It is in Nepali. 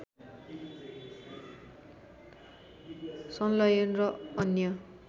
संलयन र अन्य